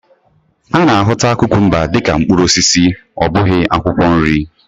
A na-ahụta kukumba dị ka mkpụrụ osisi ọ bụghị akwụkwọ nri.